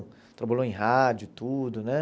Trabalhou em rádio, tudo, né?